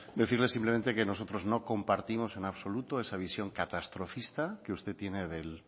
decirle simplemente que nosotros no compartimos en absoluto esa visión catastrofista que usted tiene